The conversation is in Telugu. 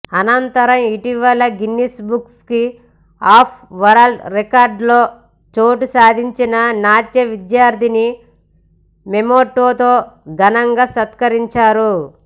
అనంతరం ఇటీవల గిన్నిస్బుక్ ఆఫ్ వరల్డ్ రికార్డులో చోటు సాధించిన నాట్య విద్యార్థినిని మెమొంటోతో ఘనంగా సత్కరించారు